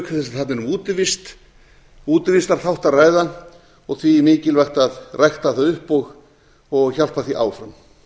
þess sem þarna er um útivistarþátt að ræða og því mikilvægt að rækta það upp og hjálpa því áfram